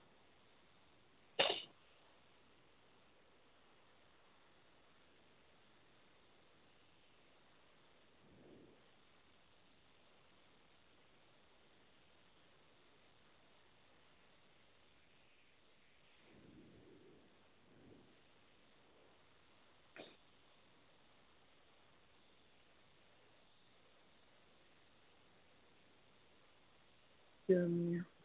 এতিয়া আমি